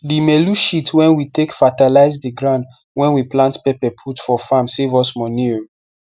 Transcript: the melu shit wen we take fatalize the ground wen we plant pepper put for farm save us money o